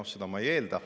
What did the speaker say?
Noh, seda ma ei eelda.